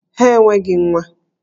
Ha enweghị nwa!